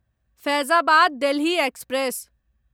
Faizabad Delhi express